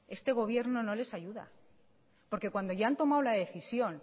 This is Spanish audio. este gobierno no les ayuda porque cuando ya han tomado la decisión